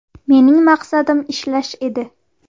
Mening maqsadim ishlash edi.